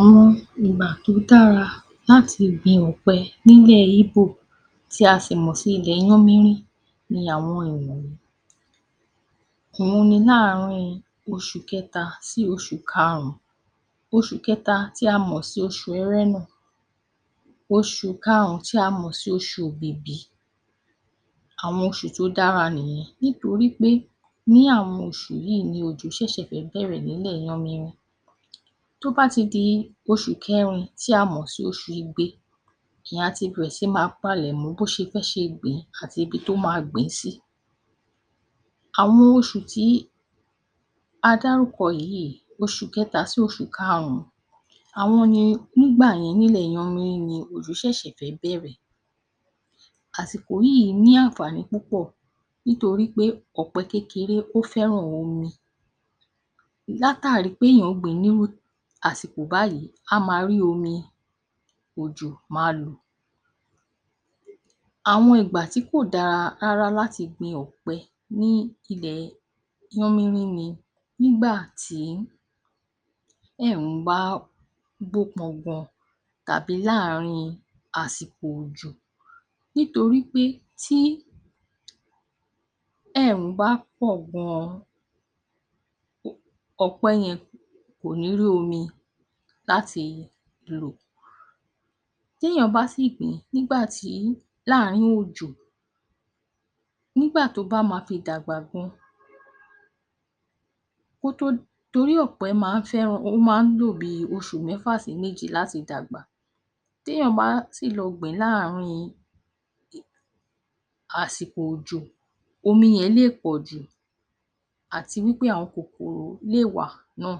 Àwọn ìgbà tí ó dára láti gbin ọ̀pẹ ní ilẹ̀ Íbò tí a sì mọ̀ sí ilẹ̀ Yánmírín ni àwọn ìwọ̀nyí; òun ni lára àwọn yẹn ni oṣù kẹta sí oṣù karùn-ún. Oṣù kẹta tí a mọ̀ sí oṣù ẹrẹ́nà, oṣù karùn-ún tí a mọ̀ sí oṣù òbìbí, àwọn oṣù tó dára nìyẹn nítorí pé ní àwọn oṣù yìí ni òjò ṣẹ̀ṣẹ̀ fẹ́ bẹ̀rẹ̀ ní ilẹ̀ Yánmírín. Tí ó bá ti di oṣù kẹrin tí a mọ̀ sí oṣù igbe ni á ti bẹ̀rẹ̀ sí máa palẹ̀ mọ́ bí ó ṣe fẹ́ ṣe gbìn ín àti ibi tí ó máa gbìn ín sí. Àwọn oṣù tí a dárúkọ yìí, oṣù kẹta sí oṣù karùn-ún àwọn ni nígbà yẹn ní ilẹ̀ Yánmírín ni òjò ṣẹ̀ṣẹ̀ fẹ́ bẹ̀rẹ̀. Àsìkò yìí ní àǹfààní púpọ̀ nítorí pé ọ̀pẹ kékeré ó fẹ́ràn omi. Látàrí pé èèyàn gbìn ín ní irú asiko báyìí a máa rí omi òjò máa lò. Àwọn ìgbà tí kò da rárá láti gbin ọ̀pẹ ní ilẹ̀ Yánmírín ni nígbà tí ẹ̀rùn bá bó pọn gan-an tàbí láàrin àsìkò òjò nítorí pé tí ẹ̀rùn bá pọ̀ gan-an ọ̀pẹ yẹn kò ní rí omi láti lò. Tí èèyàn bá sì gbìn ín nígbà tí láàrín òjò nígbà tí ó bá máa fi dàgbà gan kí ó tó torí ọ̀pẹ máa ń fẹ́ràn, ó máa ń lò bíi oṣù mẹ́fà sí méje láti dàgbà, tí èèyàn bá sì lọ gbìn ín láàrin àsìkò òjò, omi yẹn lè pọ ju àti wí pé àwọn kòkòrò lè wà náà,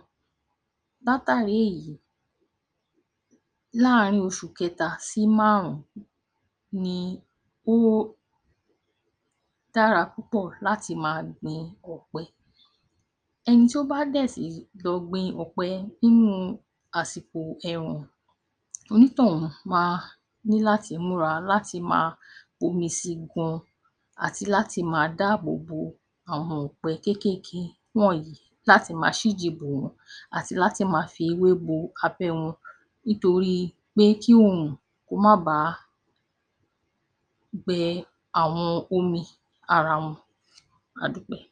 látàrí èyí láàrín oṣù kẹta sí marùn-ún ni ó dára púpọ̀ láti máa gbin ọ̀pẹ. Ẹni tí ó bá dẹ̀ sì lọ gbin ọ̀pẹ nínú àsìkò ẹ̀rùn, onítọ̀ún máa ní láti máa múra láti máa bu omi sí i gan àti láti máa dáàbò bo àwọn ọ̀pẹ kéékèèké wọ̀nyí láti máa ṣíji bò wọ́n àti láti máa fi ewé bo abẹ́ wọn nítorí pé kí oòrùn ó má baà gbẹ́ àwọn omi ara wọn. A dúpẹ́.